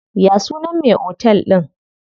Ya sunan me otel din?